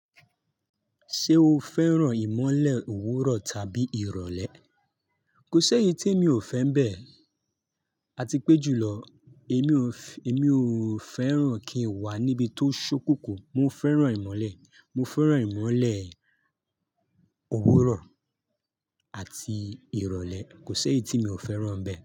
Ṣé o fẹ́ràn ìmọ́lẹ̀ òwúrọ̀ tàbí ìrọ̀lẹ́? Kò ṣe éyí tí mi ò fẹ́ń bẹ. A ti pé jùlọ, èmi ò fẹ́ràn kí n wà níbi tó ṣó kunkun. Mo fẹ́ràn ìmọ́lẹ̀, mo fẹ́ràn ìmọ́lẹ̀ òwúrọ̀ àti ìrọ̀lẹ́. Kò ṣe éyí tí mi ò fẹ́ràn bẹ.